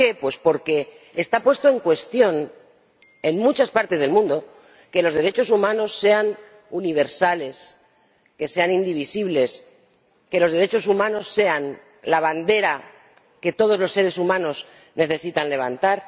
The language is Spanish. ¿Por qué? Pues porque está puesto en cuestión, en muchas partes del mundo, que los derechos humanos sean universales, que sean indivisibles, que los derechos humanos sean la bandera que todos los seres humanos necesitan levantar.